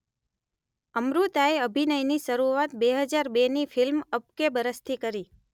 અમૃતાએ અભિનયની શરૂઆત બે હજાર બેની ફિલ્મ અબ કે બરસથી કરી